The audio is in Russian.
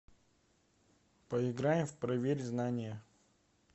поиграем в проверь знания